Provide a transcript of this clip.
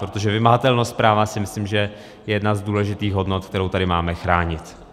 Protože vymahatelnost práva si myslím, že je jedna z důležitých hodnot, kterou tady máme chránit.